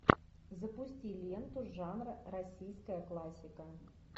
запусти ленту жанра российская классика